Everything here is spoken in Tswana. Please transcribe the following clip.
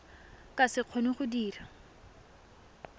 ka se kgone go dira